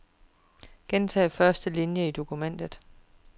Gentag første linie i dokumentet.